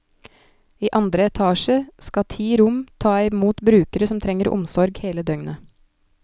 I andre etasje skal ti rom ta i mot brukere som trenger omsorg hele døgnet.